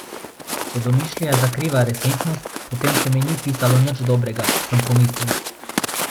Če domišljija zakriva resničnost, potem se mi ni pisalo nič dobrega, sem pomislil.